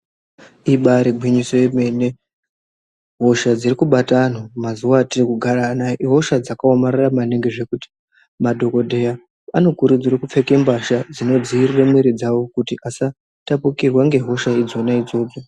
Ibaari gwinyiso remene, hosha dziri kubata antu muzuwa atiri kugara anawa ihosha dzakaomarara maningi, zvekuti madhokodheya anokurudzirwa kupfeka mbahla dzinodziirira mwiri dzawo kuti asatapukirwe ngehosha idzona idzodzo.